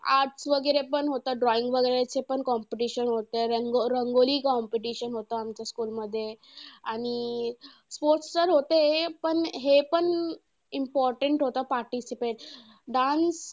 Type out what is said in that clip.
Arts वगैरे पण होतं drawing वगैरेचं पण competition होतं. रंग रंगोली competition होतं आमच्या school मध्ये आणि sports तर होते. पण हे पण important होतं. participate. Dance